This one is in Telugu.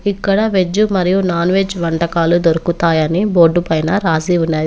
ఇక్కడ వెజ్ మరియు నాన్వెజ్ వంటకాలు దొరుకుతాయని బోర్డు పైన రాసి ఉన్నది.